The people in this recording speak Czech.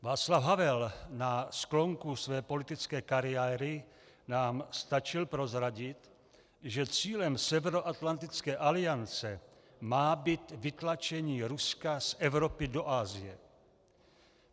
Václav Havel na sklonku své politické kariéry nám stačil prozradit, že cílem Severoatlantické aliance má být vytlačení Ruska z Evropy do Asie.